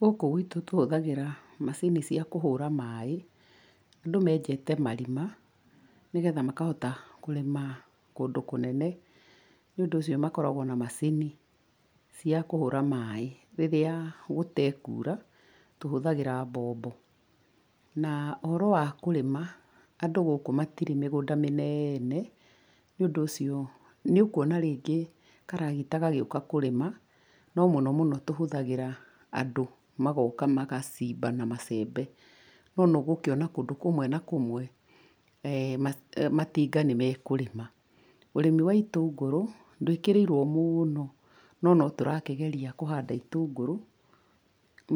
Gũkũ gwitũ tũhũthagĩra macini cia kũhũra maaĩ. Andũ meenjete marima nĩgetha makahota kũrĩma kũndũ kũnene, nĩ ũndũ ũcio makoragwo na macini cia kũhũra maaĩ, rĩrĩa gũtekuura tũhũthagĩra mbombo. Na ũhoro wa kũrĩma andũ gũkũ matirĩ mĩgũnda mĩnene, nĩ ũndũ ũcio nĩ ũkwona rĩngĩ karagita gagĩũka kũrĩma, no mũnomũno tũhũthagĩra andũ, magooka magacimba na macembe, no. nĩ ũgũkĩona kũndũ kũmwe na kũmwe matinga nĩ mekũrĩma. Ũrĩmi wa itũngũrũ ndũĩkĩrĩirwo mũno, no, no tũrakĩgeria kũhanda itũngũrũ